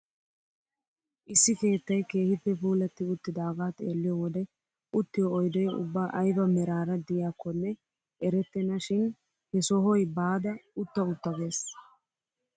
Issi keettay keehippe puulatti uttidagaa xeelliyoo wode uttiyoo oydee ubba ayba meraara de'iyakonne erettena shin he sohoy baada utta utta ges!